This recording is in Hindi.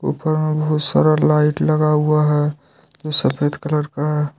ऊपर में बहुत सारा लाइट लगा हुआ है तो सफेद कलर का है।